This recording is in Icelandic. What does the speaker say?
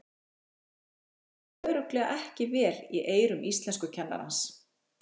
Þetta hljómaði örugglega ekki vel í eyrum íslenskukennarans!